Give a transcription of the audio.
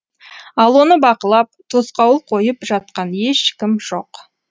ал оны бақылап тосқауыл қойып жатқан ешкім жоқ